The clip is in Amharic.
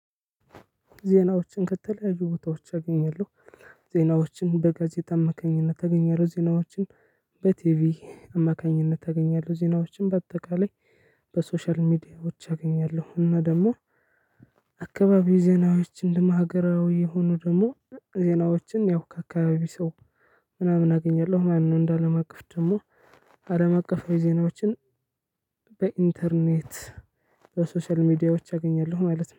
ዜናዎችን ከተለያዩ ቦታዎች አገኛለሁ። ዜናዎችን በጋዜጠኝነት አማካኝነት ዜናዎችን በቲቪ አማካኝነት አገኛለሁ ዜናዎችን በአጠቃላይ በሶሻል ሚዲያዎች አገኛለሁ። እና ደግሞ አካባቢውይ ዜናዎች እንደሀገራዊ የሆኑ ደግሞ ዜናዎችን ያው ከአካባቢ ሰው ምናምን አገኛለሁ። ማነው እንዳለም አቀፍ ደግሞ አለም አቀፍ ዜናዎችን በኢንተርኔት በሶሻል ሚዲያዎች አገኛለሁ። ማለት ነው